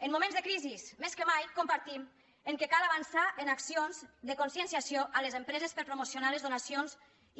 en moments de crisi més que mai compartim que cal avançar en accions de conscienciació a les empreses per promocionar les donacions